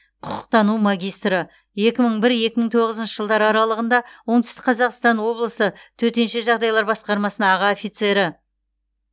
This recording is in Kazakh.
құқықтану магистрі екі мың бір екі мың тоғызыншы жылдар аралығында оңтүстік қазақстан облысы төтенше жағдайлар басқармасының аға офицері